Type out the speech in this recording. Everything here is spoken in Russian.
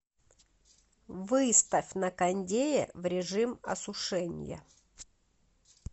выставь на кондее в режим осушения